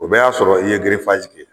O bɛɛ y'a sɔrɔ i ye